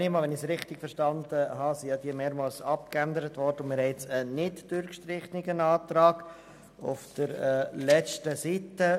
Wenn ich es richtig verstanden habe, wurden diese mehrmals abgeändert, und wir haben nun einen nicht durchgestrichenen Antrag auf der letzten Seite.